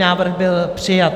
Návrh byl přijat.